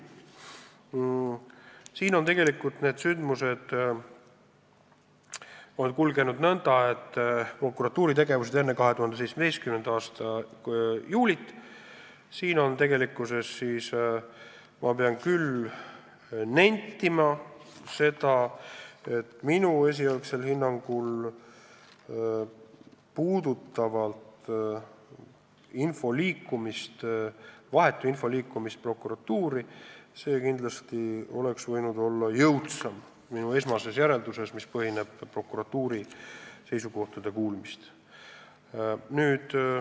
Sündmused on tegelikult kulgenud nõnda, et mis puutub prokuratuuri tegevusse enne 2017. aasta juulit, siis ma pean küll nentima, et minu esialgsel hinnangul, mis põhineb prokuratuuri seisukohtade ärakuulamisel, oleks selle vahetu info liikumine prokuratuurini kindlasti võinud olla jõudsam.